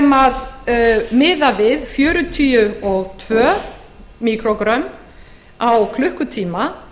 kaliforníubúa sem miða við fjörutíu og tvö míkrógrömm á klukkutíma